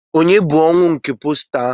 Ònye bụ posta ọnwụ nke ahụ?